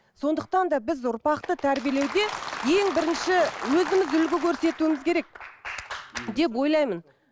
сондықтан да біз ұрпақты тәрбиелеуде ең бірінші өзіміз үлгі көрсетуіміз керек деп ойлаймын